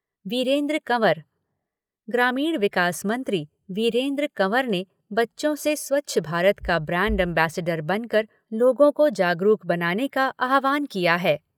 वीरेन्द्र कंवर ग्रामीण विकास मंत्री वीरेन्द्र कंवर ने बच्चों से स्वच्छ भारत का ब्रैंड अम्बेस्डर बनकर लोगों को जागरूक बनाने का आह्वान किया है।